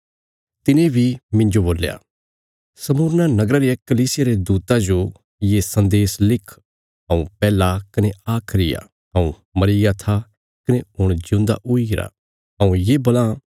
तिने बी मिन्जो बोल्या स्मुरना नगरा रिया कलीसिया रे दूता जो ये सन्देश लिख हऊँ पैहला कने आखरी आ हऊँ मरीग्या था कने हुण जिऊंदा हुईगरा हऊँ ये बोलां